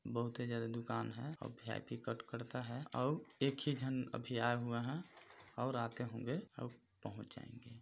बहुते ज्यादा दुकान है अउ वी.आई.पी. कट करता है अउ एक ही झन अभी आया हुआ है और आते होंगे अउ पहुँच जाएँगे।